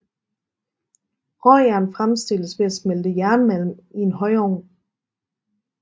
Råjern fremstilles ved at smelte jernmalm i en højovn